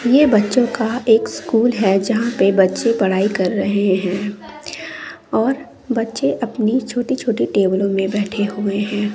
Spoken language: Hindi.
ये बच्चों का एक स्कूल है जहां पे बच्चे पढ़ाई कर रहे है और बच्चे अपनी छोटी छोटी टेबलों में बैठे हुए हैं।